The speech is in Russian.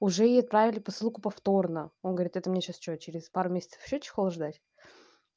уже ей отправили посылку повторно он говорит это мне сейчас что через пару месяцев ещё чехол ждать